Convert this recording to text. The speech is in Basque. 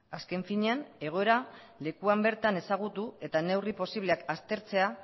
azken finean egoera lekuan bertan ezagutu eta neurri posibleak aztertzea